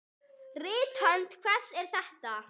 Rithönd hvers er þetta?